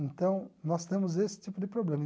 Então, nós temos esse tipo de problema.